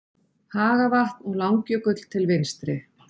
Hagavatn og Langjökull til vinstri.